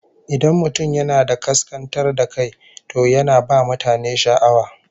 Idan mutum yana da kaskantar da kai, to yana ba mutane sha'awa